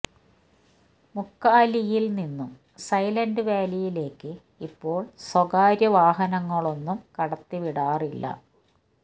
മുക്കാലിയില് നിന്നും സൈലന്റ് വാലിയിലേക്ക് ഇപ്പോള് സ്വകാര്യ വാഹനങ്ങളൊന്നും കടത്തി വിടാറില്ല